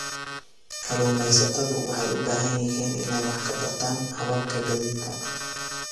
Kalluumaysatadu waxay u baahan yihiin inay wax ka bartaan hababka gaadiidka.